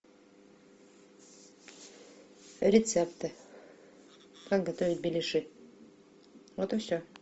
рецепты как готовить беляши вот и все